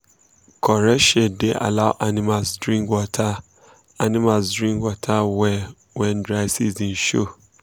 correct shade da allow animals drink water animals drink water well when dry season show